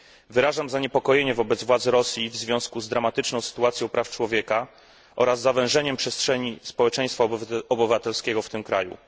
Wyrażam zaniepokojenie wobec władz Rosji w związku z dramatyczną sytuacją praw człowieka oraz zawężeniem przestrzeni społeczeństwa obywatelskiego w tym kraju.